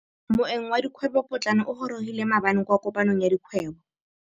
Moêng wa dikgwêbô pôtlana o gorogile maabane kwa kopanong ya dikgwêbô.